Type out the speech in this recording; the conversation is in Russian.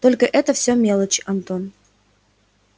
только это все мелочи антон